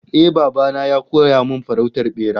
Eh, baba na ya koya min farautar bera